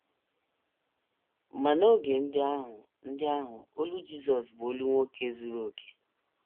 Ma n’oge ndị ahụ, ndị ahụ, olu Jizọs bụ olu nwoke zuru okè.